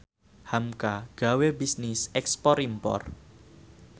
hamka gawe bisnis ekspor impor